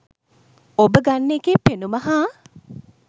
ඔබ ගන්න එකේ පෙනුම හා